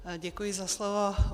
Děkuji za slovo.